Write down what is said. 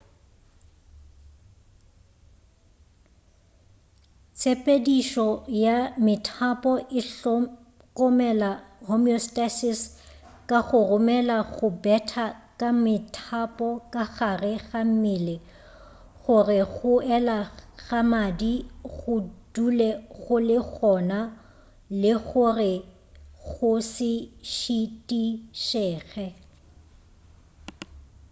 tshepedišo ya methapo e hlokomela homeostasis ka go romela go betha ka methapo ka gare ga mmele go re go ela ga madi go dule go le gona le go re go se šitišege